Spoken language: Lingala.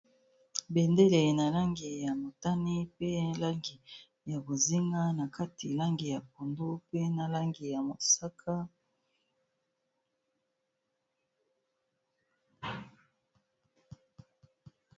Bendele na langi ya motani, pe langi ya bozinga, na kati langi ya pondu mpe na langi ya mosaka.